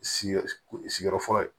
Sigiyɔrɔ sigiyɔrɔ fɔlɔ ye